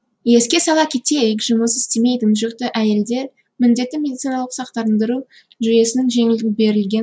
еске сала кетейік жұмыс істемейтін жүкті әйелдер міндетті медициналық сақтандыру жүйесінің жеңілдік берілген